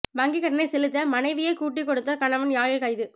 வங்கிக் கடனை செலுத்த மனைவியை கூட்டிக் கொடுத்த கணவன் யாழில் கைது